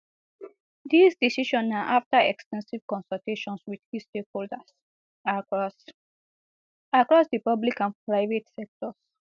dis decision na afta ex ten sive consultations wit key stakeholders across across di public and private sectors